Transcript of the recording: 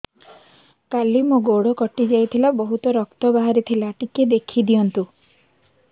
କାଲି ମୋ ଗୋଡ଼ କଟି ଯାଇଥିଲା ବହୁତ ରକ୍ତ ବାହାରି ଥିଲା ଟିକେ ଦେଖି ଦିଅନ୍ତୁ